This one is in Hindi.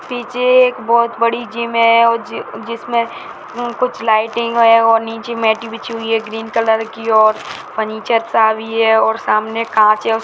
पीछे एक बहुत बड़ी जिम है अ जिसमें अ कुछ लाइटिंग है और नीचे मैट बिछी हुई है ग्रीन कलर की और फर्नीचर सा भी है और सामने कांच --